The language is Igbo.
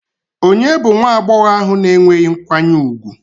Ònye bụ nwa agbọghọ ahụ na-enweghị nkwanye ùgwù?